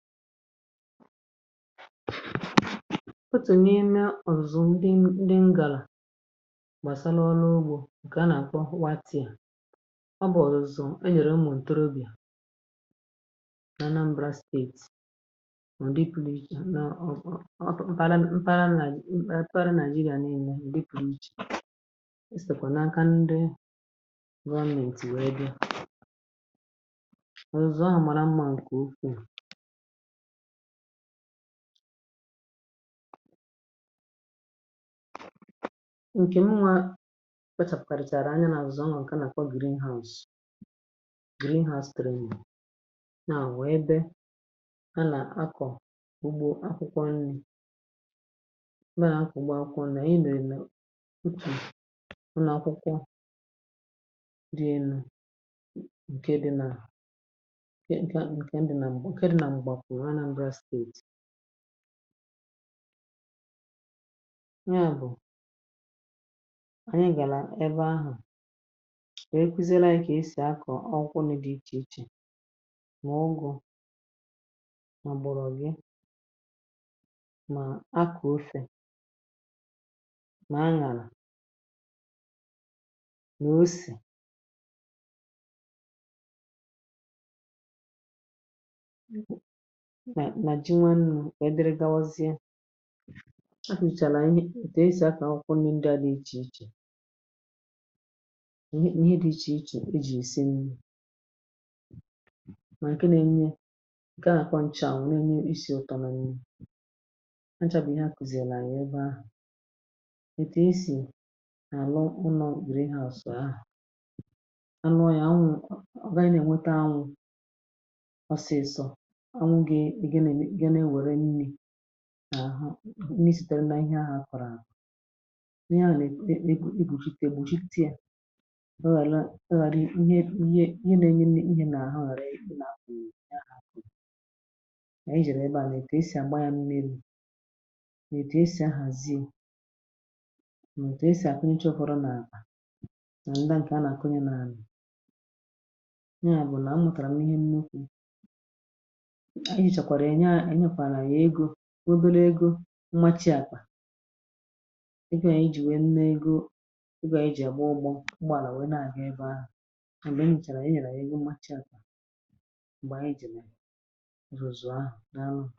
Otù n’ime ọ̀zọ ndị m, ndị ngàlà gbàsalụ ọrụ ugbȯ ǹkè a nà-àkọ. Wa tia, ọ bụ̀ ọ̀zọ̀zụ̀ e nyèrè umù ntorobịà nà Anambra steetì. Ọ̀ nà-èripù nàijì nà ọ̀ nà ọ̀tụ m̀paral mpara, nà èparal nàijì, nà eme ǹrì, pùijì. Esèkwà nà aka ndị rọnèntì, wee bịa. Ọ̀zọ ahụ̀ màrà mma, ǹkè okwuù ǹke nwa. Kwechàpụ̀kàrị̀chàrà anya n’azụ̀zụ̀. Ọ nwà ǹkè a nàkwà — greenhors, greenhorspiru. Nàa nwèe, bė, ha nà akọ̀ ugbȯ. Akwụ̇kwọ nni̇, nwee nà akụ̀, gbakwunyè anyị̇ n’enè utù ụnọ̀ akwụkwọ dị̇ elu̇, ǹke dị nà yá. Bụ̀ ànyị gàlà ebe ahụ̀. E kwụzịrị, jè e sì akọ̀ ọkụ, nà di ichèichè: mà ụgụ̇, mà gbọrọ̀ gị̇, mà akụ̀ ofè, nà aṅàrà, nà osì, nà ji. Nwannu̇ kà e diri. Gawazie, a hùchàrà ihe òtù esì akà ụkwụ n’ndị à dị ichè ichè. Ihe dị̇ ichè ichè e jì èsi nni. Mà ǹke na-enye, gà-àkwànchà wù na-enye isi̇ ụ̀tọ nà nni. Hanchàbì ihe à kụ̀zị̀ àlà ànyị ebe ahụ̀, ètù esì àlụ ụnọ̀. Grihu̇ àsò ahụ̀, anụ. Oyà, anwụ̀ ọ̀ gà-ànyị nà ènweta. Anwụ̇ ọsịsọ̇ à àhụ. Nri sị̀tèrè n’ihe ahụ̀ akọ̀rọ̀ àhụ, ihe ahụ̀ n’ebu̇. N’egwùji tegwùji, tia, ọ ghàla, ọ ghàrị. Ihe ihe n’enye n’ihe n’àhụ. Ghàrị èkpù n’àhụ. N’akọ̀nị̀ ihe ahụ̀ kà ijì rèè ebe àlà. È kà esì àgbaghȧ. Nnė lù, nà è tù esì ahụ̀. Àziu̇, nà è tù esì àkụnyė, ̣chụ̀pụrụ nà àkà nà ndà. Ǹkè a nà-àkụnyė n’àlà, webere egȯ mmachị àkwà. Ịgà ya iji nwẹ nnẹ egȯ. Ịgà eji agbụ ụgbọ. Ụgbọ à nwẹ nà àgà ẹbẹ ahụ̀. M̀gbè m̀chàrà, ẹnyẹrẹ ego mmachị àkwà. M̀gbè ànyị eji̇ rụzụ ahụ̀ n’anụ.